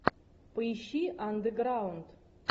поищи андеграунд